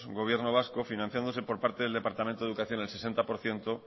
gobierno vasco financiándose por parte del departamento de educación al sesenta por ciento